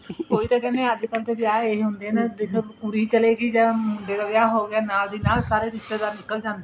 ਉਹੀ ਤਾਂ ਕਹਿਣੇ ਹਾਂ ਅੱਜ ਕੱਲ ਤਾਂ ਵਿਆਹ ਇਹ ਹੁੰਦੇ ਨੇ ਕੁੜੀ ਚਲੀ ਗਈ ਤਾਂ ਮੁੰਡੇ ਦਾ ਵਿਆਹ ਹੋ ਗਿਆ ਨਾਲ ਦੀ ਨਾਲ ਸਾਰੇ ਰਿਸ਼ਤੇਦਾਰ ਨਿੱਕਲ ਜਾਂਦੇ ਨੇ